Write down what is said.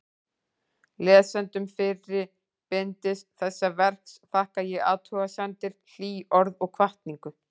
Lesendum fyrra bindis þessa verks þakka ég athugasemdir, hlý orð og hvatningu.